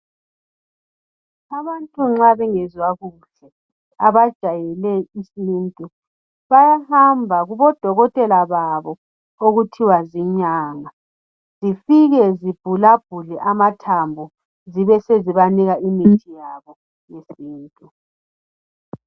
Abantu nxa bengezwa kuhle abajwayele isintu bayahamba kubodokotela babo okuthiwa zinyanga, zifike zivulavule amathambo zibe zezibanika imithi yabo yesintu.